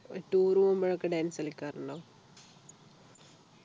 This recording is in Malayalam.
tour പോകുമ്പോഴൊക്കെ dance കളിക്കാറുണ്ടോ